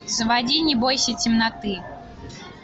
заводи не бойся темноты